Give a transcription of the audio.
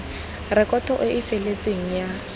rekoto e e feletseng ya